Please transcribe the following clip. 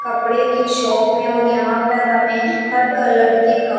कपड़े की शॉप है और यहाँ पर हमें हर कलर के कप--